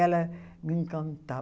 Ela me encanta